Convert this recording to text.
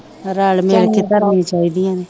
ਰਲ ਮਿਲ ਕੇ ਧਰਨੀ ਚਾਹੀਦੀਆਂ ਨੇ